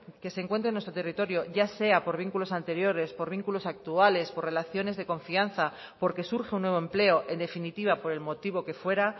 que se encuentre en nuestro territorio ya sea por vínculos anteriores por vínculos actuales por relaciones de confianza porque surge un nuevo empleo en definitiva por el motivo que fuera